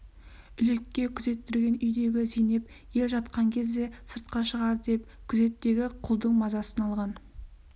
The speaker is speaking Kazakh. үлекке күзеттірген үйдегі зейнеп ел жатқан кезде сыртқа шығар деп күзеттегі құлдың мазасын алған